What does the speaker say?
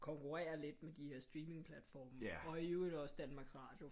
Konkurrerer lidt med de her streamingplatforme og i øvrigt også Danmarks Radio